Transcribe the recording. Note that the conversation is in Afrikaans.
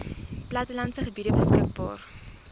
plattelandse gebiede beskikbaar